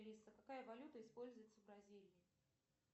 алиса какая валюта используется в бразилии